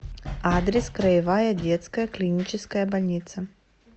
адрес краевая детская клиническая больница